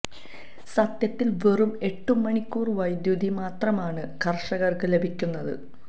സത്യത്തില് വെറും എട്ടു മണിക്കൂര് വൈദ്യുതി മാത്രമാണ് കര്ഷകര്ക്ക് ലഭിക്കുന്നത്